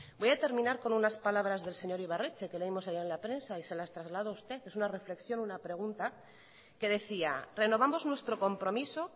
voy a terminar con unas palabras del señor ibarretxe que leímos ayer en la prensa y se las traslado a usted es una reflexión una pregunta que decía renovamos nuestro compromiso